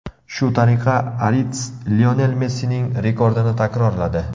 Shu tariqa Arits Lionel Messining rekordini takrorladi.